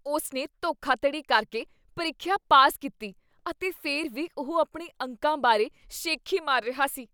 ਉਸ ਨੇ ਧੋਖਾਧੜੀ ਕਰਕੇ ਪ੍ਰੀਖਿਆ ਪਾਸ ਕੀਤੀ ਅਤੇ ਫਿਰ ਵੀ ਉਹ ਆਪਣੇ ਅੰਕਾਂ ਬਾਰੇ ਸ਼ੇਖੀ ਮਾਰ ਰਿਹਾ ਹੈ।